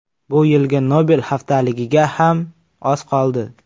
Bu yilgi Nobel haftaligiga ham oz qoldi.